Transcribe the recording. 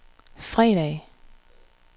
fredag